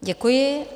Děkuji.